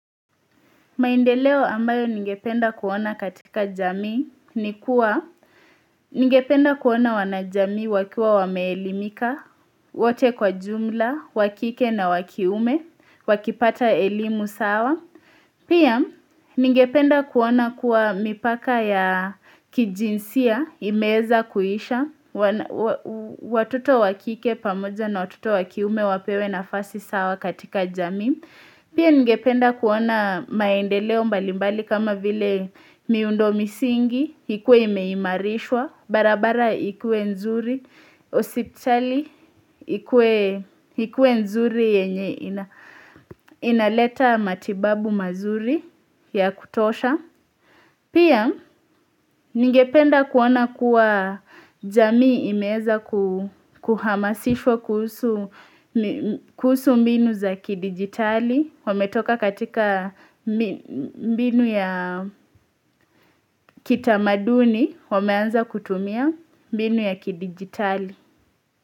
Maendeleo ambayo ningependa kuona katika jamii ni kuwa Ningependa kuona wanajamii wakiwa wameelimika, wote kwa ujumla, wa kike na wa kiume, wakipata elimu sawa Pia ningependa kuona kuwa mipaka ya kijinsia imeweza kuisha Watoto wa kike pamoja na watoto wa kiume wapewe na fasi sawa katika jamii Pia ngependa kuona maendeleo mbalimbali kama vile miundo misingi, hikuwe imeimarishwa, barabara hikuwe nzuri, osipchali hikuwe nzuri yenye inaleta matibabu mazuri ya kutosha. Pia, ningependa kuona kuwa jamii imeweza kuhamasishwa kuhusu mbinu za kidigitali, wametoka katika mbinu ya kitamaduni, wameanza kutumia mbinu ya kidigitali.